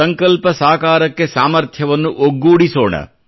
ಸಂಕಲ್ಪ ಸಾಕಾರಕ್ಕೆ ಸಾಮಥ್ರ್ಯವನ್ನು ಒಗ್ಗೂಡಿಸೋಣ